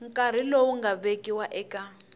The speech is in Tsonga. nkarhi lowu nga vekiwa eka